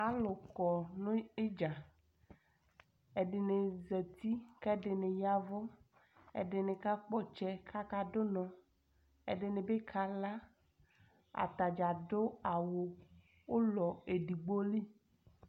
Alu kɔ nu idza ɛdini zati kɛdini yavu ɛdini kakpɔ ɔtsɛ kakadu unɔ ɛdini bi kala atadza adu awu ulɔ edigbo